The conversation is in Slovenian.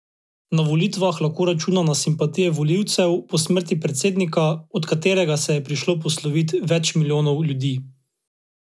Na volitvah lahko računa na simpatije volilcev po smrti predsednika, od katerega se je prišlo poslovit več milijonov ljudi.